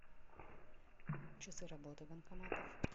часы работы банкоматов